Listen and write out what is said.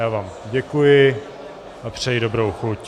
Já vám děkuji a přeji dobrou chuť.